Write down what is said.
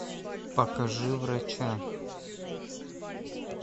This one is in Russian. покажи врача